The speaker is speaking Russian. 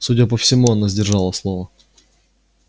судя по всему она сдержала слово